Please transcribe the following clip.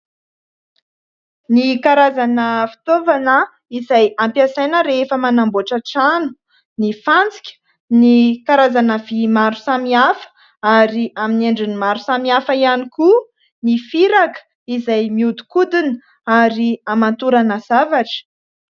Ny karazana fitaovana izay ampiasaina rehefa manamboatra trano : ny fantsika, ny karazana vy maro samy hafa ary amin'ny endriny maro samy hafa ihany koa, ny firaka izay miodikodina ary hamantorana zavatra.